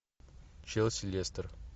челси лестер